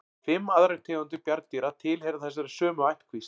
Fimm aðrar tegundir bjarndýra tilheyra þessari sömu ættkvísl.